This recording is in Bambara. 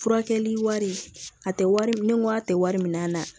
Furakɛli wari a tɛ wari ni a tɛ wari min na